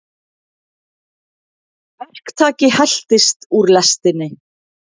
Verktaki heltist úr lestinni